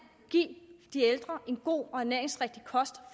give de ældre en god og ernæringsrigtig kost